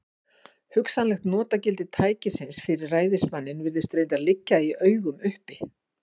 Hugsanlegt notagildi tækisins fyrir ræðismanninn virðist reyndar liggja í augum uppi.